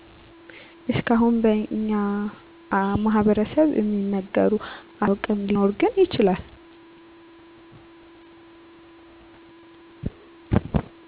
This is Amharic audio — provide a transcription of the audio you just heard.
እስካሁን በኛ ማህበረስብ እሚነገሩ አፈታሪኮችን እኔ ሰምቼ አላውቅ ሊኖር ግን ይችላል